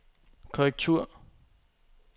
korrektur